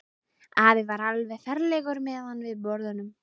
Afi var alveg ferlegur meðan við borðuðum.